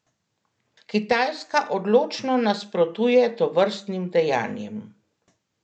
Kitajska odločno nasprotuje tovrstnim dejanjem.